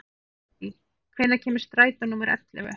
Hedí, hvenær kemur strætó númer ellefu?